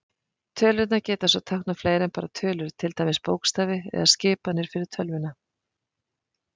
Tölurnar geta svo táknað fleira en bara tölur, til dæmis bókstafi eða skipanir fyrir tölvuna.